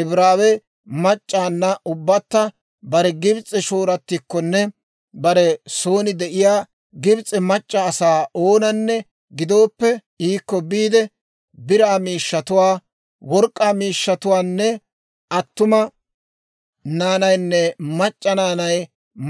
Ibraawe mac'c'awunna ubbatta bare Gibs'e shooratikkonne bare soon de'iyaa Gibs'e mac'c'a asaa oonanne gidooppe iikko biide, biraa miishshatuwaa, work'k'aa miishshatuwaanne attuma naanaynne mac'c'a naanay